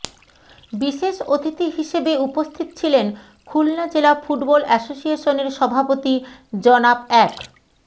বিশেষ অতিথি হিসেবে উপস্থিত ছিলেন খুলনা জেলা ফুটবল অ্যাসোসিয়েশনের সভাপতি জনাব এ্যাড